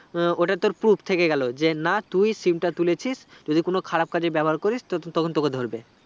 ওটা তোর proof থেকে গেলো যে না তুই SIM তা তুলেছিস যদি কোনো খারাপ কাজে ব্যাবহার করিস তোতখন তোকে ধরবে